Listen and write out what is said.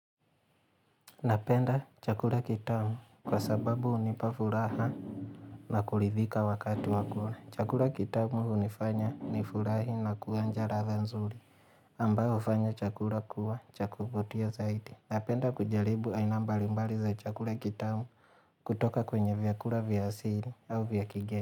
Napenda chakula kitamu kwa sababu hunipa furaha na kulidhika wakati wa kula. Chakula kitamu hunifanya nifurahi na kuonja ladha nzuri. Ambayo hufanya chakula kuwa cha kuvutia zaidi. Napenda kujaribu aina mbalimbali za chakula kitamu kutoka kwenye vyakula vya asili au vya kigeni.